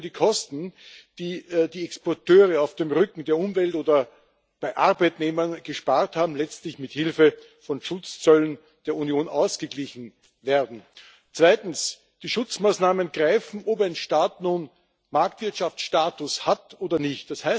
So können die Kosten, die die Exporteure auf dem Rücken der Umwelt oder bei Arbeitnehmern gespart haben, letztlich mit Hilfe von Schutzzöllen der Union ausgeglichen werden. Zweitens Die Schutzmaßnahmen greifen, ob ein Staat nun Marktwirtschaftsstatus hat oder nicht.